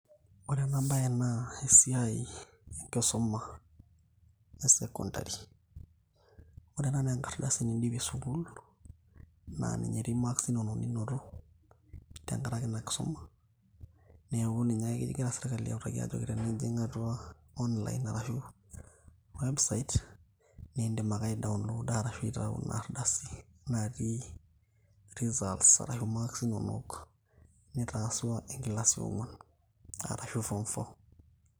ore ena baye naa esiai enkisuma e secondary ore ena naa enkardasi nindipie sukul naa ninye etii marks inonok ninoto tenkarake ina kisuma neeku ninye ake kingira sirkali autaki ajo tenijing' atua online arashu website nindim ake ni download arshu aitau in ardasi natii results ashu marks inonok nitasua enkilasi eong'uan arashu form four.